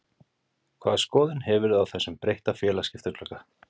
Hvaða skoðun hefurðu á þessum breytta félagaskiptaglugga?